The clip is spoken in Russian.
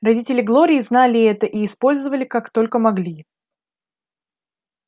родители глории знали это и использовали как только могли